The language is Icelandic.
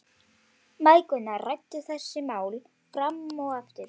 Mæðgurnar ræddu þessi mál fram og aftur.